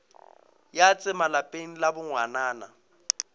ya tsema lapeng la bongwanana